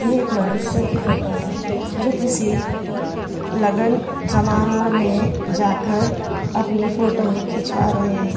एक मनुष्य की फोटो है जो किसी लग्न समारोह में जाकर अपनी फोटो खिंचवा रहे हैं।